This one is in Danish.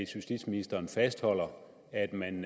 justitsministeren fastholder at man